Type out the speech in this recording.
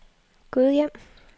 Gudhjem